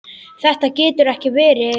Þetta getur ekki verið.